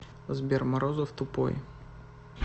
сбер морозов тупой